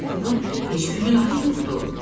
Deməli Puxun heç bir günahı yoxdur.